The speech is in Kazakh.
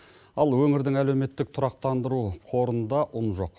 ал өңірдің әлеуметтік тұрақтандыру қорында ұн жоқ